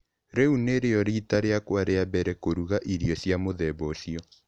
Rĩu nĩrĩo riita rĩakwa rĩa mbere kũruga irio cia mũthemba ũcio.